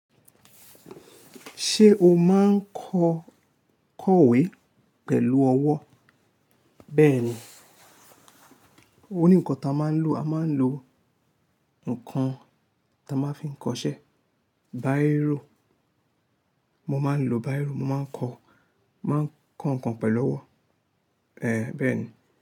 Ṣé o máa ń kọ kọ̀wé pẹ̀lú ọwọ́? Bẹ́ẹ̀ ni, òní nǹkan tí a máa ń lò, a máa ń lò nǹkan tí a máa ń fi ń kọ ṣẹ, bírò. Mo máa ń lò bírò, mo máa ń kọ, máa ń kọ nǹkan pẹ̀lú ọwọ́. Bẹ́ẹ̀ ni.